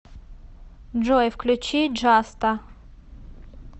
джой включи джаста